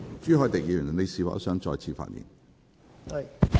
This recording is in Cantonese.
朱凱廸議員，你是否想再次發言？